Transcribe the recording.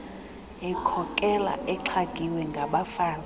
ekhokela exhagiwe ngabafazi